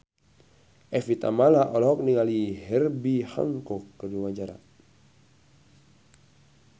Evie Tamala olohok ningali Herbie Hancock keur diwawancara